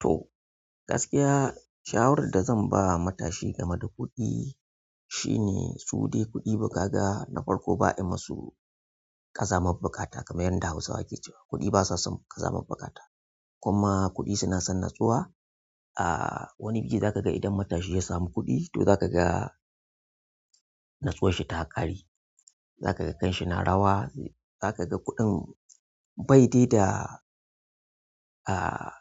To gaskiya shawarar da zan ba matashi gameda kuɗi shine, sudai kuɗi kaga na farko kuɗi ba'a masu ƙazamar buƙatar kamar yadda Hausawa kecewa, kuɗi basason kazamar buƙata, kuma kuɗi sunason natsuwa. Ah wani bi za ka ga idan matashi ya samu kuɗi to za ka ga nutsuwar shi ta ƙare. Zakaga kanshi na rawa, zakaga kuɗin, baidai da ahh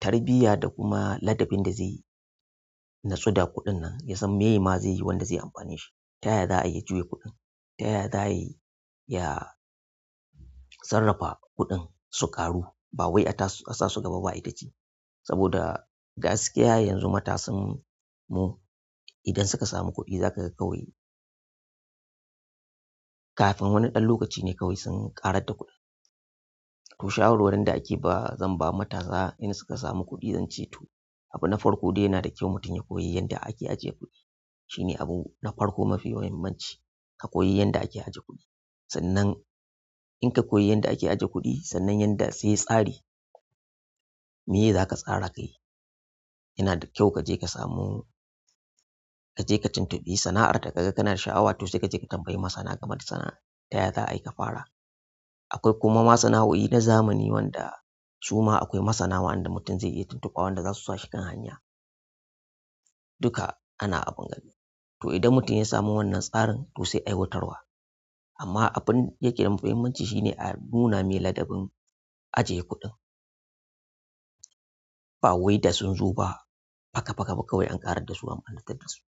tarbiyya, da kuma ladabin da zai natsu da kuɗin nan yasan mema zaiyi wanda zai amfane shi. Ta yaya za a iya juya kuɗin, ta yaya za aiya sarrafa kuɗin su ƙaru ba wai a sa su gaba ba aita ci. Saboda. Gaskiya yanzu matasan mu idan suka samu kuɗi za ka ga kawai kafin wani ɗan lokaci ne kawai sun ƙarar da kuɗin. To shawarwarin da ake ba zan ba matasa in suka samu kuɗi zan ce to abu na farko dai yana da kyau mutum ya koyi yanda ake ajiye kuɗi. Shi ne abu na farko mafi muhimmanci, ka koyi yanda ake ajiye kuɗi. Sannan in ka koyi yanda ake ajiye kuɗi sannan yanda sai tsari meye za ka tsara kai. Yana da kyau ka je ka samu, ka je ka tuntubi sana'ar da ka ga kana da sha'awa to sai ka je ka tambayi masana game da sana'ar ta yaya za a yi ka fara. Akwai kuma masana'o'i na zamani wanda suma akwai masana waɗanda mutum zai iya tuntuba wanda za su sa shi kan hanya. Duka ana abun gani. To idan mutum ya samu wannan tsarin to sai aiwatarwa. Amma abin yake da muhimmanci shine a nuna me ladabin ajiye kuɗin ba wai da sun zo ba. Paka paka ba kawai an ƙarar da su an ɓarnatar da su.